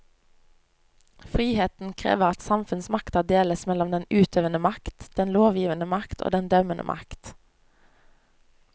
Friheten krever at samfunnsmakta deles mellom den utøvende makt, den lovgivende makt og den dømmende makt.